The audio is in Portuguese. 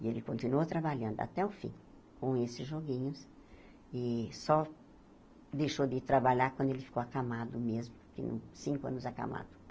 E ele continuou trabalhando até o fim com esses joguinhos e só deixou de trabalhar quando ele ficou acamado mesmo, que não cinco anos acamado.